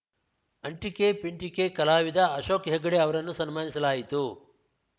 ಅಂಟಿಕೆ ಪಿಂಟಿಕೆ ಕಲಾವಿದ ಅಶೋಕ್‌ ಹೆಗ್ಗಡೆ ಅವರನ್ನು ಸನ್ಮಾನಿಸಲಾಯಿತು